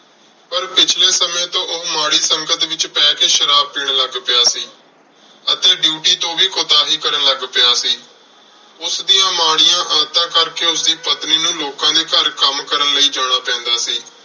ਪਰ ਪਿਛਲੇ ਸਮੇਂ ਤੋਂ ਉਹ ਮਾੜੀ ਸੰਗਤ ਵਿੱਚ ਪੈ ਕੇ ਸ਼ਰਾਬ ਪੀਣ ਲੱਗ ਪਿਆ ਸੀ ਅਤੇ duty ਤੋਂ ਵੀ ਕੁਤਾਹੀ ਕਰਨ ਲੱਗ ਪਿਆ ਸੀ। ਉਸ ਦੀਆਂ ਮਾੜੀਆਂ ਆਦਤਾਂ ਕਰਕੇ ਉਸਦੀ ਪਤਨੀ ਨੂੰ ਲੋਕਾਂ ਦੇ ਘਰ ਕੰਮ ਕਰਨ ਲਈ ਜਾਣਾ ਪੈਂਦਾ ਸੀ